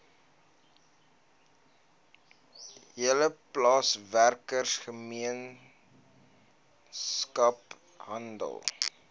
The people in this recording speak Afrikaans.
hele plaaswerkergemeenskap hande